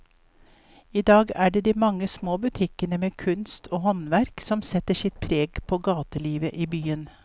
I dag er det de mange små butikkene med kunst og håndverk som setter sitt preg på gatelivet i byen.